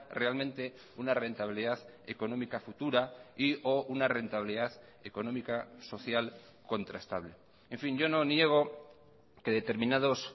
realmente una rentabilidad económica futura y o una rentabilidad económica social contrastable en fin yo no niego que determinados